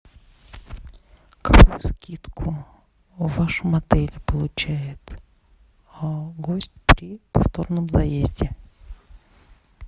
какую скидку в вашем отеле получает гость при повторном заезде